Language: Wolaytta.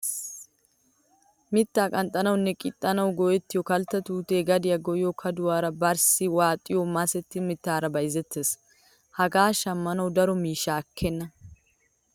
Mittaa qanxxanawu nne qixanawu go''iya kalttaa tuutee gadiya goyyiyo kaduwara barssi waaxiyo masetta mittaara bayzettees. Hagee shammanawu daro miishsha ekkenna.